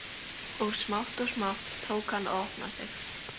Og smátt og smátt tók hann að opna sig.